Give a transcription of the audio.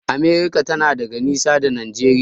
America tana da nisa daga Najeriya.